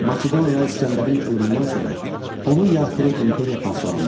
Makedoniya İsgəndərin ölümündən sonra onun yaratdığı imperiya parçalandı.